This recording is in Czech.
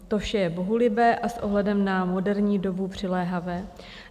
To vše je bohulibé a s ohledem na moderní dobu přiléhavé.